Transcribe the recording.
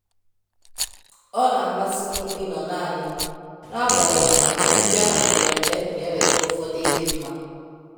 Ọ na-amasị m ịnọ naanị m, n'agbanyeghị na ọbịbịa na mberede na-eweta ụfọdụ ịdịmma